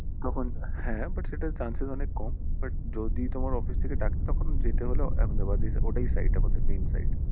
হ্যাঁ but সেটার chances অনেক কম but যদি তোমার office থেকে ডাকে তখন যেতে হলে Ahmedabad ই ওটাই site আমাদের main site